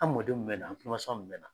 An mɔdenw mun bɛ na an kulomasama mun bɛ na.